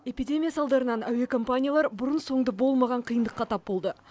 эпидемия салдарынан әуе компаниялар бұрын соңды болмаған қиындыққа тап болды